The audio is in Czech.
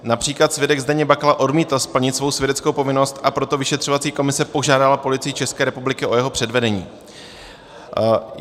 Například svědek Zdeněk Bakala odmítl splnit svou svědeckou povinnost, a proto vyšetřovací komise požádala Policii České republiky o jeho předvedení.